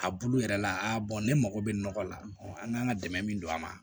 A bulu yɛrɛ la aa ne mago bɛ nɔgɔ la an kan ka dɛmɛ min don a ma